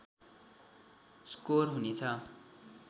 score हुनेछ